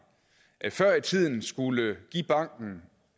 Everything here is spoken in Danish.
før i tiden skulle give banken